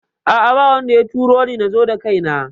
A'a babu wanda ya turoni nazo da kaina